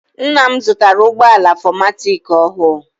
Ńnà m zụtara ụgbọala 4matic ọhụụ.